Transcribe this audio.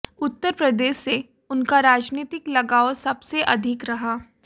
उत्तर प्रदेश से उनका राजनीतिक लगाव सबसे अधिक रहा